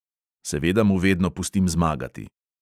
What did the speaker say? Seveda mu vedno pustim zmagati!